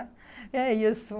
É isso.